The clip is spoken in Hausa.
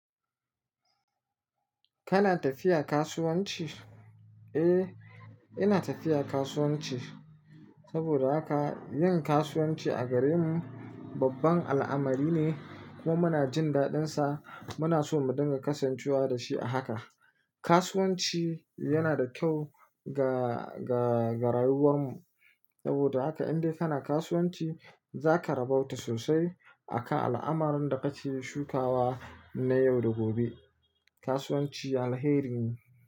Kana tafiya kasuwanci? Eh, ina tafiya kasuwanci. Saboda haka, yin kasuwanci a garinmu babban al'amari ne kuma muna jin daɗinsa. Muna so mu dinga kasancewa da shi a haka. Kasuwanci yana da kyau ga, ga, ga rayuwar mu. Saboda haka indai kana kasuwanci za ka rabauta sosai a kan al'amuran da kake shukawa na yau da gobe. Kasuwanci alheri ne.